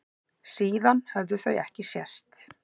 Síðan höfðu þau ekki sést.